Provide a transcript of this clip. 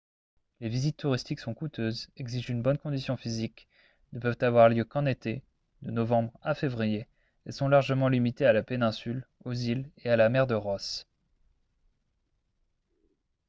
les visites touristiques sont coûteuses exigent une bonne condition physique ne peuvent avoir lieu qu'en été de novembre à février et sont largement limitées à la péninsule aux îles et à la mer de ross